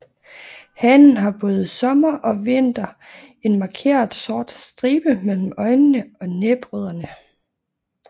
Hanen har både sommer og vinter en markeret sort stribe mellem øjnene og næbrødderne